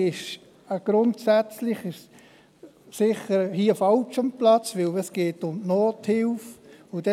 Deshalb ist «grundsätzlich» hier sicherlich fehl am Platz, da es um die Nothilfe geht.